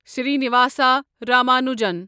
Srinivasa Ramanujan